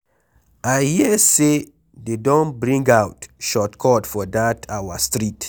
I hear say dey don bring out short cut for dat our street.